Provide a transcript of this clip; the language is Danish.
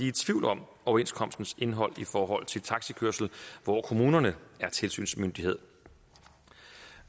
i tvivl om overenskomstens indhold i forhold til taxikørsel hvor kommunerne er tilsynsmyndighed